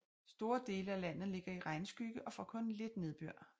Store dele af landet ligger i regnskygge og får kun lidt nedbør